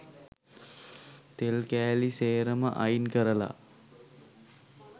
තෙල් කෑලි සේරම අයින් කරලා